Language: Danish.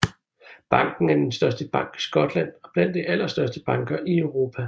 Banken er den største bank i Skotland og blandt de allerstørste banker i Europa